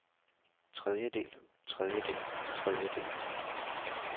tredjedel tredjedel tredjedel